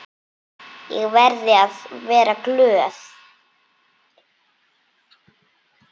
Ég verði að vera glöð.